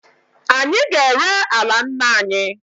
Anyị ga-ere ala nna anyị.